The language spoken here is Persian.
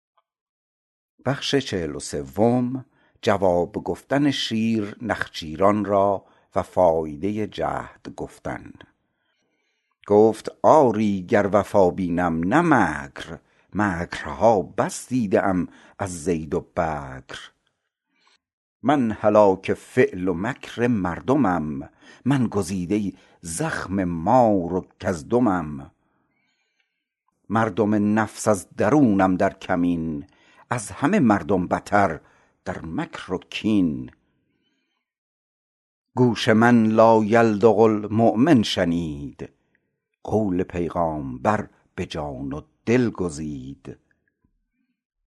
گفت آری گر وفا بینم نه مکر مکر ها بس دیده ام از زید و بکر من هلاک فعل و مکر مردمم من گزیده زخم مار و کژدمم مردم نفس از درونم در کمین از همه مردم بتر در مکر و کین گوش من لایلدغ المؤمن شنید قول پیغامبر به جان و دل گزید